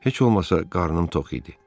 Heç olmasa qarnım tox idi.